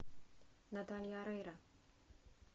наталья орейро